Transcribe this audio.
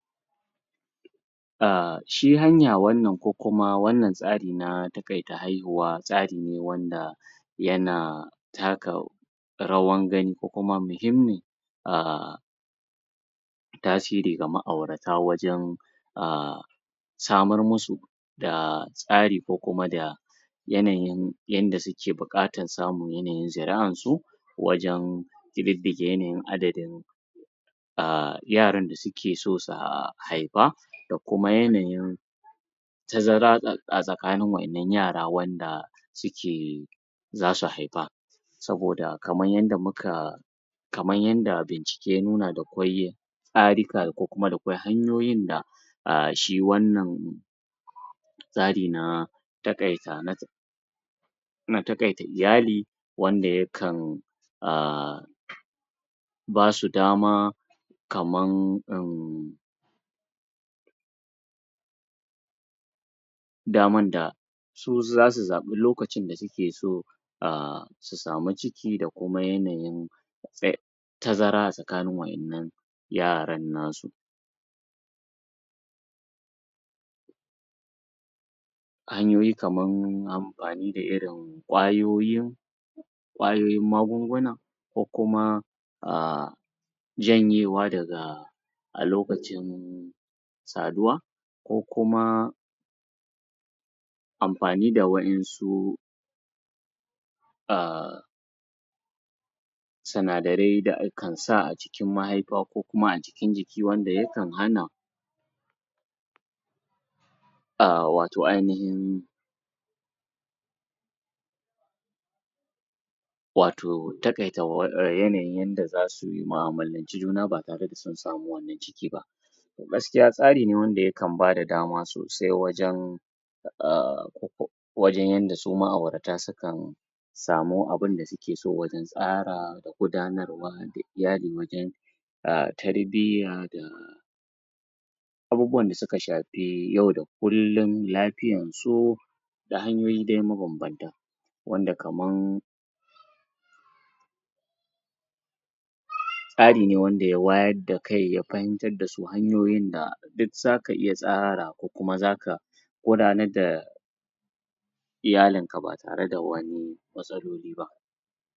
A shi hanya wannan ko kuma wannan tsari na taƙaita haihuwa tsari ne wanda yana taka rawar gani ko kuma muhimmi a tasiri ga ma'aura wajen a samar musu da tsari ko kuma da yanayin yanda suke buƙatar samun yanayin zuri'ansu wajen ƙididdige yanayin adadin a yaran da suke so su haifa da kuma yanayin tazara a tsakanin wannan yara wanda suke za su haifa saboda kamar yanda muka kamar yanda bincike na nuna da kwai yin tsarika ko kuma da kwai hanyoyin da a shi wannan tsari na taƙaita? na taƙaita iyali wanda yakan a ba su dama kamar uhmm damar da su za su zaɓi lokacin da suke so a samu ciki da kuma yanayin? tazara a tsakanin wa'yannan yaran nasu an yi kamar amfani da irin kwayoyin kwayoyin magunguna ko kuma a janyewa daga lokacin saduwa ko kuma amfani da wa'yansu a sinadarai da akan sa a jikin mahaifa ko kuma a cikin jikin wanda yakan hana a wato ainahin wato taƙaita yanayin yanda za sui mu'amalanci juna ba tare da sun samu wannan ciki ba to gaskiya tsari ne wanda yakan bada dama sosai wajen a wajen yanda su ma'auratan suka samu abinda suke so wajen tsara da gudanarwa da da iyali wajen a tarbiyya da abubuwan da suka shafi yau da kullum lafiyrsu da hanyoyi dai mabambanta wanda kaman? tsari ne wanda da ya wayar da kai ya fahimtar da su hanyoyin da duk zaka iya tsara ko kuma zaka gudanar da iyalinka ba tare da wani matsaloli ba